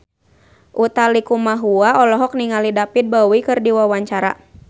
Utha Likumahua olohok ningali David Bowie keur diwawancara